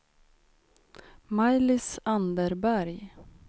Maj-Lis Anderberg